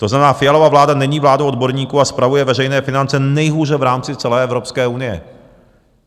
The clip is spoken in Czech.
To znamená, Fialova vláda není vládou odborníků a spravuje veřejné finance nejhůře v rámci celé Evropské unie.